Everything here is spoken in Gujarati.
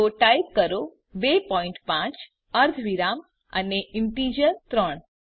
તો ટાઈપ કરો 25 અર્ધવિરામ અને ઈન્ટીજર 3